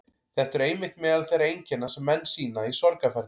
Þetta eru einmitt meðal þeirra einkenna sem menn sýna í sorgarferli.